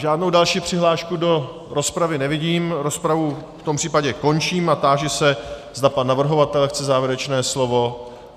Žádnou další přihlášku do rozpravy nevidím, rozpravu v tom případě končím a táži se, zda pan navrhovatel chce závěrečné slovo.